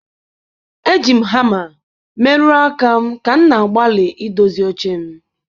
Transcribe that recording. Eji m hama merụọ aka m ka m na-agbalị idozi oche m.